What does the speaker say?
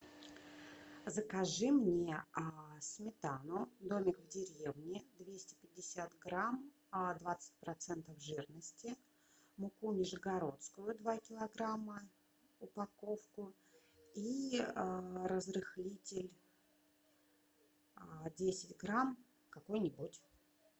закажи мне сметану домик в деревне двести пятьдесят грамм двадцать процентов жирности муку нижегородскую два килограмма упаковку и разрыхлитель десять грамм какой нибудь